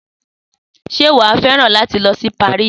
Sé wàá feran látí lōsí Paris?